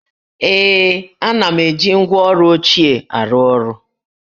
Ee, ana m eji ngwá ọrụ ochie arụ ọrụ